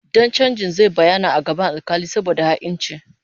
Dan chanjin zai bayyana a gaban alkali saboda ha'inci